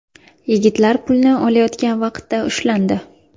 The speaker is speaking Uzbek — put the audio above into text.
Yigitlar pulni olayotgan vaqtda ushlandi.